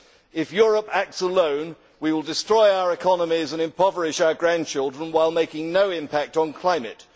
If Europe acts alone, we will destroy our economies and impoverish our grandchildren, while making no impact on climate.